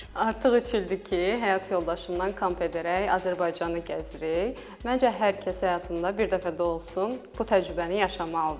Artıq üç ildir ki, həyat yoldaşımdan kamp edərək Azərbaycanı gəzirik, məncə hər kəs həyatında bir dəfə də olsun bu təcrübəni yaşamalıdır.